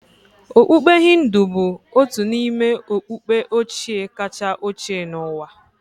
Okpukpe Hindu bụ otu n'ime okpukpe ochie kacha ochie n'ụwa